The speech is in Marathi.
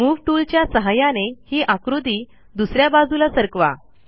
मूव टूल च्या सहाय्याने ही आकृती दुस या बाजूला सरकवा